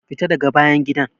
Fita daga bayan gidan!